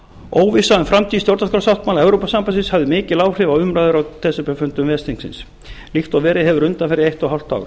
óvissa um framtíð stjórnarskrársáttmála evrópusambandsins hafði mikil áhrif á umræður á desemberfundum ves þingsins líkt og verið hefur undanfarið eitt og hálft